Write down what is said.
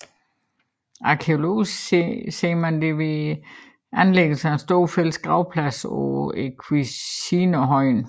Arkæologisk ser man det ved anlæggelsen af en stor fælles gravplads på Esquilinerhøjen